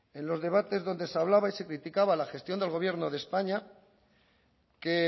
en los debates donde se hablaba y se criticaba la gestión del gobierno de españa que